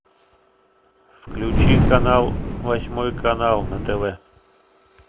включи канал восьмой канал на тв